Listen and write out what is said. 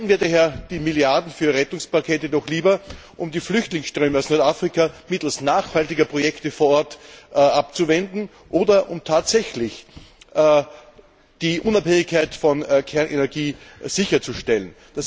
Verwenden wir daher die Milliarden für die Rettungspakete doch lieber, um die Flüchtlingsströme aus Nordafrika mittels nachhaltiger Projekte vor Ort abzuwenden, oder um tatsächlich die Unabhängigkeit von Kernenergie sicherzustellen!